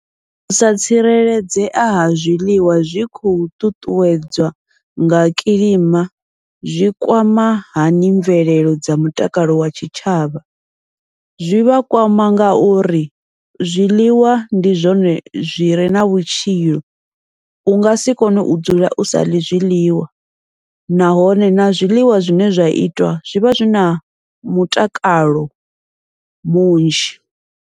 Usa tsireledzea ha zwiḽiwa zwi tshi khou ṱuṱuwedzwa nga kilima zwi kwama hani mvelelo dza mutakalo wa tshitshavha, zwi vha kwama ngauri zwiḽiwa ndi zwone zwire na vhutshilo, ungasi kone u dzula u saḽi zwiḽiwa nahone na zwiḽiwa zwine zwa itwa zwivha zwina mutakalo munzhi.